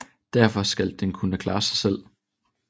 Derefter skal den kunne klare sig selv